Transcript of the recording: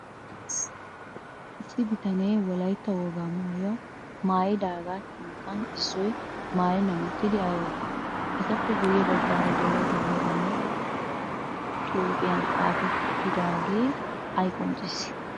Issi bitane wolaytta wogaa maayyuwaa mayyidaaga sinttan issoy maayyennan uttidi ay ootti? Etappe guyye baggaara de'iyaa dumma dumma xuupiyan xaapettidaage ay qonccissi